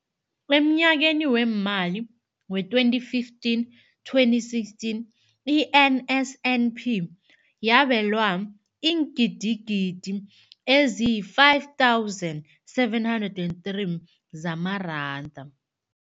Emnyakeni weemali we-2015, 2016, i-NSNP yabelwa iingidigidi ezi-5 703 zamaranda.